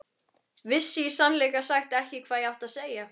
Vissi í sannleika sagt ekki hvað ég átti að segja.